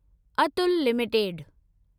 Atul limited